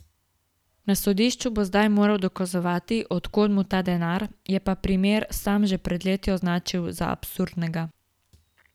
Na sodišču bo zdaj moral dokazovati, od kod mu ta denar, je pa primer sam že pred leti označil za absurdnega.